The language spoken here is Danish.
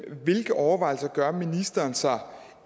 hvilke overvejelser gør ministeren sig om